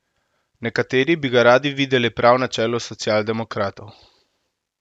Nekateri bi ga radi videli prav na čelu socialdemokratov.